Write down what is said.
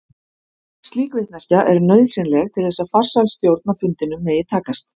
Slík vitneskja er nauðsynleg til þess að farsæl stjórn á fundinum megi takast.